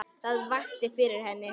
Hvað vakti fyrir henni?